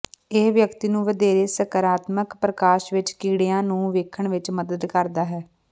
ਇਹ ਵਿਅਕਤੀ ਨੂੰ ਵਧੇਰੇ ਸਕਾਰਾਤਮਕ ਪ੍ਰਕਾਸ਼ ਵਿੱਚ ਕੀੜਿਆਂ ਨੂੰ ਵੇਖਣ ਵਿੱਚ ਮਦਦ ਕਰਦਾ ਹੈ